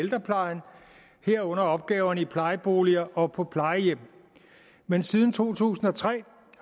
ældreplejen herunder opgaverne i plejeboliger og på plejehjem men siden to tusind og tre